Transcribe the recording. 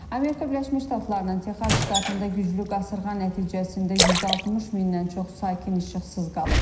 Amerika Birləşmiş Ştatlarının Texas ştatında güclü qasırğa nəticəsində 160 mindən çox sakin işıqsız qalıb.